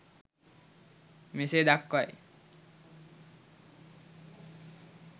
මෙසේ දක්වයි.